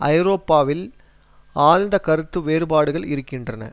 ஐரோப்பாவில் ஆழ்ந்த கருத்து வேறுபாடுகள் இருக்கின்றன